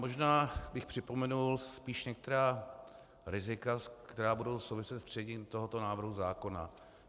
Možná bych připomenul spíš některá rizika, která budou souviset s přijetím tohoto návrhu zákona.